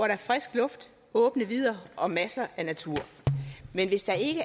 er frisk luft åbne vidder og masser af natur men hvis der ikke